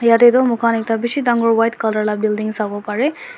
tatae tu moikhan ekta bishi dangor white colour la building sawo parae.